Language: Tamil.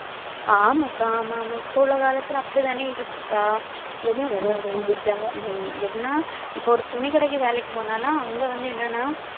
ஆமாக்கா ஆமாம், இப்ப உள்ள காலத்துல அப்படித்தானே இருக்குக்கா. ஹம் இப்ப ஒரு துணிக்கடைக்கு வேலைக்கு போனாலும் அங்க வந்து என்னன்னா